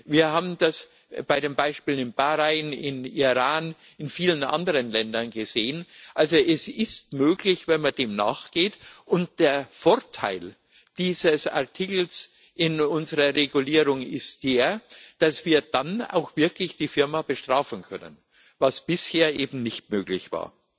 Wir haben das bei den Beispielen in Bahrain, im Iran und in vielen anderen Ländern gesehen also es ist möglich, wenn man dem nachgeht, und der Vorteil dieses Artikels in unserer Regulierung ist der, dass wir dann auch wirklich die betreffende Firma bestrafen können, was bisher eben nicht möglich war.